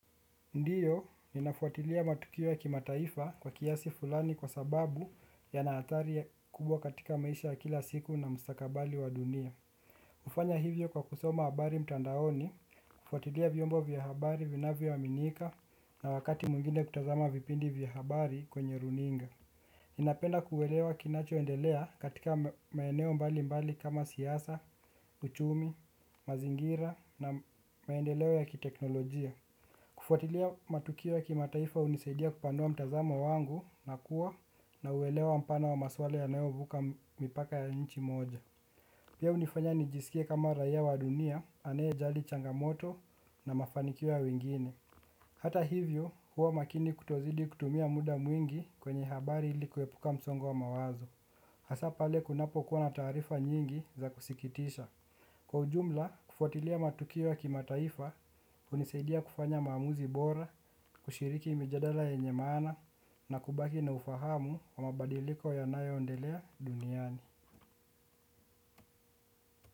Ndiyo, ninafuatilia matukio ya kimataifa kwa kiasi fulani kwa sababu yana athari kubwa katika maisha ya kila siku na mstakabali wa dunia. Ufanya hivyo kwa kusoma habari mtandaoni, kufuatilia vyombo vya habari vinavyoaminika na wakati mwengine kutazama vipindi vya habari kwenye runinga. Ninapenda kuelewa kinachoendelea katika maeneo mbali mbali kama siasa, uchumi, mazingira na maendeleo ya kiteknolojia. Kufuatilia matukio ya kimataifa unisaidia kupanua mtazamo wangu na kuwa na uelewa mpana wa maswala yanayovuka mipaka ya nchi moja. Pia unifanya nijiskie kama raia wa dunia anayejali changamoto na mafanikio ya wengine. Hata hivyo huwa makini kutozidi kutumia muda mwingi kwenye habari ili kuepuka msongo wa mawazo. Hasa pale kunapokuwa na taarifa nyingi za kusikitisha. Kwa ujumla, kufuatilia matukio ya kimataifa unisaidia kufanya maamuzi bora, kushiriki mijadala yenye maana na kubaki na ufahamu wa mabadiliko yanayoondelea duniani.